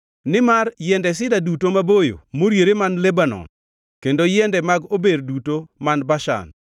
nimar yiende sida duto maboyo moriere man Lebanon kendo yiende mag ober duto man Bashan,